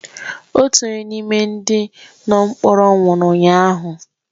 Otu onye n’ime ndị nọ mkpọrọ nwụrụ ụnyahụ